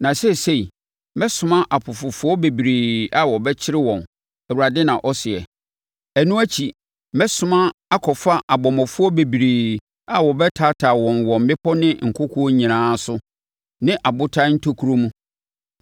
“Na seesei, mɛsoma apofofoɔ bebree a wɔbɛkyere wɔn.” Awurade na ɔseɛ. “Ɛno akyi, mɛsoma akɔfa abɔmmɔfoɔ bebree a wɔbɛtaataa wɔn wɔ mmepɔ ne nkokoɔ nyinaa so ne abotan ntokuro mu.